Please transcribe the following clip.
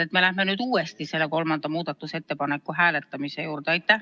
Miks me läheme nüüd uuesti selle kolmanda muudatusettepaneku hääletamise juurde?